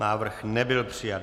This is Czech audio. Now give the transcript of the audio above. Návrh nebyl přijat.